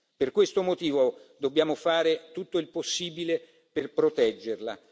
Per questo motivo dobbiamo fare tutto il possibile per proteggerla.